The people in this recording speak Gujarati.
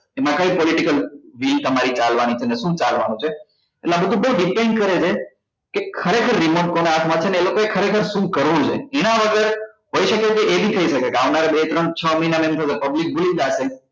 એમાં કઈ political deal તમારી ચાલવા ની છે ને શું ચાલવા નું છે એટલે એ બધું depain કરે છે કે ખરેખર remote કોના હાથ માં છે ને એ લોકો એ ખરેખર શું કરવું જોઈએ એના વગર હોઈ શકે કે એ બી થઇ શકે છે કે આવનારા બે ત્રણ છ મહિના માં એમ છે કે public ભૂલી જશે